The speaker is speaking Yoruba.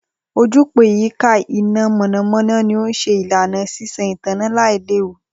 Ojúpòó ìyíká iná mọ̀nàmọ̀nà ni ó ṣe ìlànà sísan ìtànná lailewu